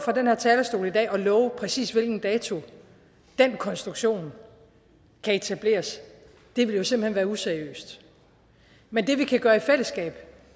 den her talerstol i dag og love præcis hvilken dato den konstruktion kan etableres vil jo simpelt hen være useriøst men det vi kan gøre i fællesskab